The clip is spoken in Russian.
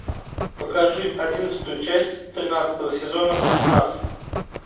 покажи одиннадцатую часть тринадцатого сезона спецназ